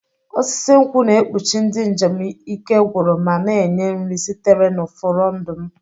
Osisi nkwụ na-ekpuchi ndị njem ike gwụrụ ma na-enye nri sitere na furondu m.